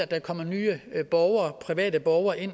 der kommer nye borgere ind